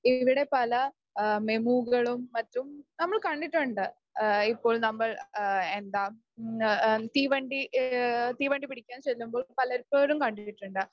ഇവിടെ പല മെമൂകളും മറ്റും കണ്ടിട്ടുണ്ട്. ഇപ്പോൾ നമ്മൾ എന്താ തീവണ്ടി തീവണ്ടി പിടിക്കാന് ചെല്ലുമ്പോൾ പലപ്പോഴും കണ്ടിട്ടുണ്ട്.